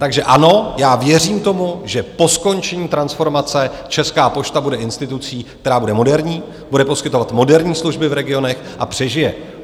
Takže ano, já věřím tomu, že po skončení transformace Česká pošta bude institucí, která bude moderní, bude poskytovat moderní služby v regionech a přežije.